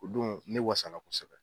O don ne wasala kosɛbɛ.